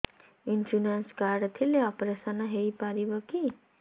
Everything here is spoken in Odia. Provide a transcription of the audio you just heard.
ଇନ୍ସୁରାନ୍ସ କାର୍ଡ ଥିଲେ ଅପେରସନ ହେଇପାରିବ କି